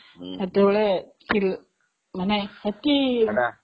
ସେତେବେଳେ ଥିଲି, ମାନେ.. ସେତିକି.. ସେଇଟା..